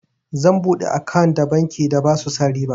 Zan buɗe akant da banki da basu sa riba.